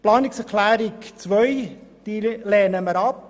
Wir lehnen die Planungserklärung 2 ab.